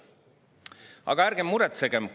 Aga ärgem muretsegem!